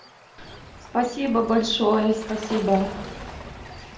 спасибо большое спасибо